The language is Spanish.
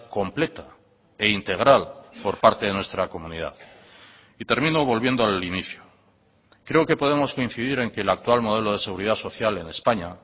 completa e integral por parte de nuestra comunidad y termino volviendo al inicio creo que podemos coincidir en que el actual modelo de seguridad social en españa